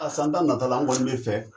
A san tan nata la an kɔni bɛ fɛ